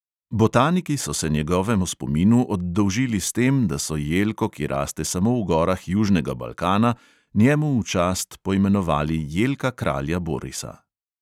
Botaniki so se njegovemu spominu oddolžili s tem, da so jelko, ki raste samo v gorah južnega balkana, njemu v čast poimenovali jelka kralja borisa.